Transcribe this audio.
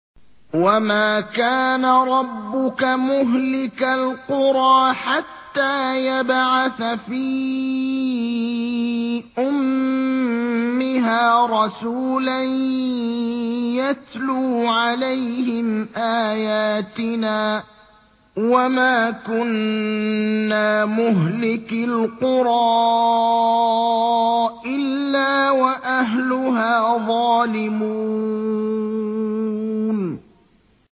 وَمَا كَانَ رَبُّكَ مُهْلِكَ الْقُرَىٰ حَتَّىٰ يَبْعَثَ فِي أُمِّهَا رَسُولًا يَتْلُو عَلَيْهِمْ آيَاتِنَا ۚ وَمَا كُنَّا مُهْلِكِي الْقُرَىٰ إِلَّا وَأَهْلُهَا ظَالِمُونَ